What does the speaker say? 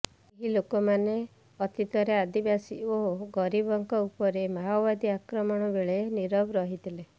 ଏହି ଲୋକମାନେ ଅତୀତରେ ଆଦିବାସୀ ଓ ଗରିବଙ୍କ ଉପରେ ମାଓବାଦୀ ଆକ୍ରମଣ ବେଳେ ନୀରବ ରହିଥିଲେ